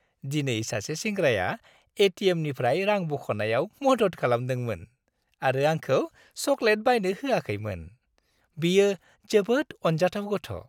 दिनै सासे सेंग्राया ए.टि.एम.निफ्राय रां बख'नायाव मदद खालामदोंमोन आरो आंखौ चकलेट बायनो होआखैमोन। बियो जोबोद अनजाथाव गथ'।